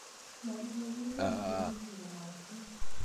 nyoluu kokirgei murenik che chemoitin